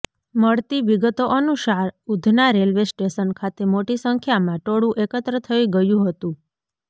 મળતી વિગતો અનુસાર ઉધના રેલવે સ્ટેશન ખાતે મોટી સંખ્યામાં ટોળુ એકત્ર થઇ ગયુ હતું